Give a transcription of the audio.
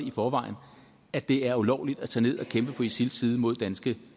i forvejen at det er ulovligt at tage ned og kæmpe på isils side mod danske